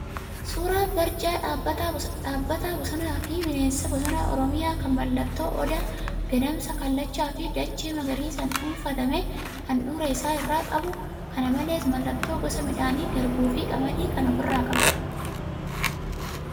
Suuraa barjaa Dhaabbata Bosonaa fi Bineensa Bosonaa Oromiyaa kan mallattoo Odaa, Gadamsaa, Kallachaa fi dachee magariisaan dhuunfatame handhuura isaa irraa qabu, kana malees mallattoo gosa midhaanii garbuu fi qamadii kan ofirraa qabu.